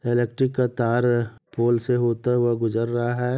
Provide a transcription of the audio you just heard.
Electric का तार पूल से होते हुए गुजर रहा है।